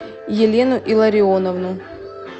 елену илларионовну